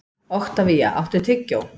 Oktavía, áttu tyggjó?